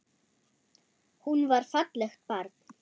Hún var fallegt barn.